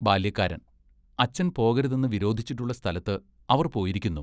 ബാല്യക്കാരൻ, അച്ഛൻ പോകരുതെന്ന് വിരോധിച്ചിട്ടുള്ള സ്ഥലത്ത് അവർ പോയിരിക്കുന്നു.